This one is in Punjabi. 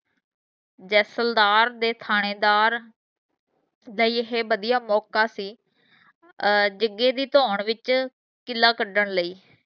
ਜੈਸਲਦਾਰ ਦੇ ਥਾਣੇਦਾਰ ਦਾ ਇਹ ਵਧੀਆ ਮੌਕਾ ਸੀ ਅਹ ਜਗੇ ਦੀ ਥੋਨ ਵਿਚ ਕੀਲਾ ਕਢਣ ਲਈ